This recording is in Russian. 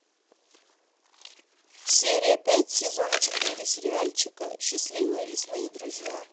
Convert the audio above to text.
серия пять сезона четыре сериальчика счастливые лесные друзья